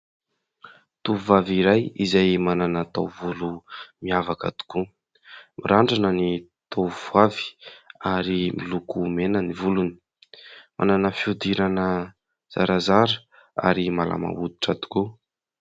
Tovovavy iray izay manana taovolo miavaka tokoa, mirandrana ny tovovavy ary miloko mena ny volony, manana fiodirana zarazara ary malama hoditra tokoa.